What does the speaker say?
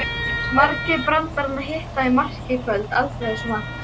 Margir brandaranna hitta í mark í kvöld, aldrei þessu vant.